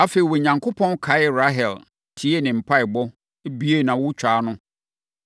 Afei, Onyankopɔn kaee Rahel, tiee ne mpaeɛbɔ, buee nʼawotwaa ano.